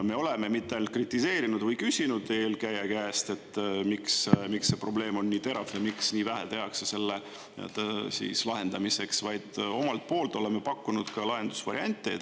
Me oleme mitte ainult kritiseerinud või küsinud eelkäija käest, et miks see probleem on nii terav ja miks nii vähe tehakse selle lahendamiseks, vaid omalt poolt oleme pakkunud ka lahendusvariante.